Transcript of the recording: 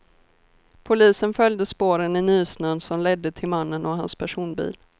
Polisen följde spåren i nysnön som ledde till mannen och hans personbil.